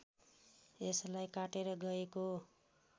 यसलाई काटेर गएको